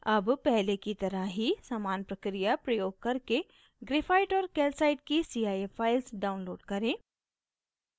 अब पहले की तरह ही समान प्रक्रिया प्रयोग करके graphite और calcite की cif files download करें